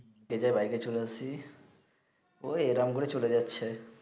খেয়ে দেয়ে বাইকে চলে আসি ঐ এই রকম করে চলে যাচ্ছে